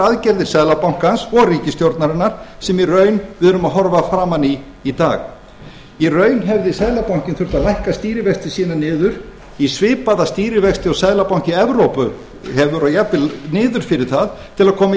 aðgerðir seðlabankans og ríkisstjórnarinnar sem í raun erum að horfa framan í í dag í raun hefði seðlabankinn þurft að lækka stýrivexti sína niður í svipaða stýrivexti og seðlabanki evrópu og jafnvel niður fyrir það til að koma